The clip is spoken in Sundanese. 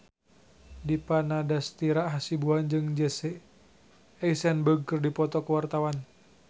Dipa Nandastyra Hasibuan jeung Jesse Eisenberg keur dipoto ku wartawan